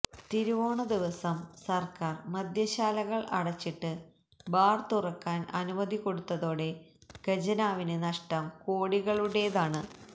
തിരുവോണദിവസം സർക്കാർ മദ്യശാലകൾ അടച്ചിട്ട് ബാർ തുറക്കാൻ അനുമതി കൊടുത്തതോടെ ഖജനാവിന് നഷ്ടം കോടികളുടേതാണ്